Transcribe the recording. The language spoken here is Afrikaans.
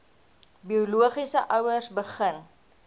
biologiese ouers begin